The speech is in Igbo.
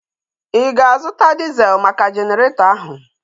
Ị ga-azụta diezel maka Jeneretọ ahu?